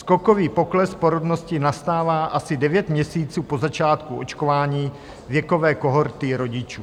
Skokový pokles porodnosti nastává asi devět měsíců po začátku očkování věkové kohorty rodičů.